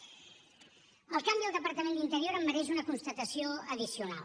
el canvi al departament d’interior em mereix una constatació addicional